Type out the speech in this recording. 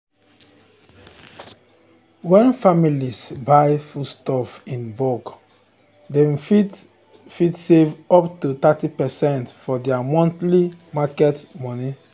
when families buy foodstuff in bulk dem fit fit save up to thirty percent for their monthly market money.